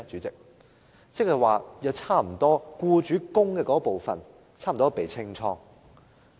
即是僱主供款部分差不多被"清倉"。